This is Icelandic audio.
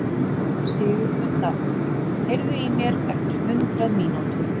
Sigurmunda, heyrðu í mér eftir hundrað mínútur.